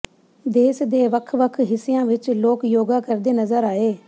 ਦੇਸ਼ ਦੇ ਵੱਖ ਵੱਖ ਹਿੱਸਿਆਂ ਵਿਚ ਲੋਕ ਯੋਗਾ ਕਰਦੇ ਨਜ਼ਰ ਆਏ